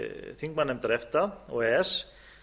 þingmannanefndar efta og e e s